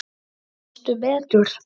Það eru engar ýkjur.